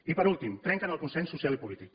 i per últim trenquen el consens social i polític